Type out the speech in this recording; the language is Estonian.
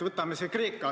Võtame Kreeka.